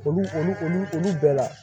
Olu olu olu olu bɛɛ la